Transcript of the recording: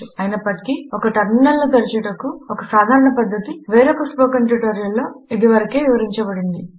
అయినప్పటికీ ఒక టర్మినల్ను తెరచుటకు ఒక సాధారణ పద్ధతి వేరొక స్పోకెన్ ట్యుటోరియల్లో ఇది వరకే వివరించబడింది